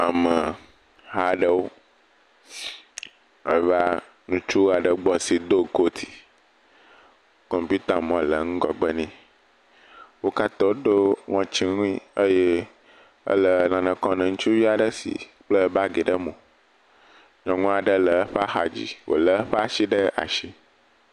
Ameha aɖewo eve ŋutsu ɖe gbɔ si do kooti. Kɔmpiutamɔ le ŋgɔgbe nɛ. Wo katã woɖɔ ŋɔtsiwui. Eye ele nane kɔ na ŋutsuvi aɖe si kpla baagi ɖe mo. Nyɔnu aɖe le eƒe axadzi, wolé eƒe ashi ɖe ashi.